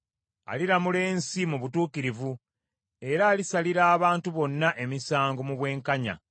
Aliramula ensi mu butuukirivu, era alisalira abantu bonna emisango mu bwenkanya.